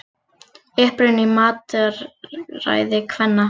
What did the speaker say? Uppruninn í mataræði kvenna